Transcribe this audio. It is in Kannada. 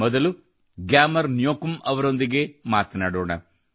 ಮೊದಲು ಗ್ಯಾಮರ್ ನ್ಯೋಕುಮ್ ಅವರೊಂದಿಗೆ ಮಾತನಾಡೋಣ